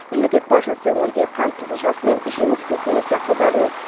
мемлекет басшысы өңірде қант қызылшасы мен жеміс көкөніс дақылдарының